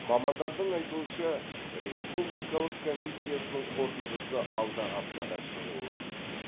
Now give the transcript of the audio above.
мамандардың айтуынша республикалық комиссиясының қорытындысы алдағы аптада шығуы тиіс